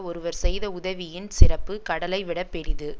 ஒருவர் செய்த உதவியின் சிறப்பு கடலை விட பெரிது